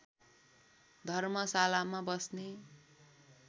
धर्मशालामा बस्ने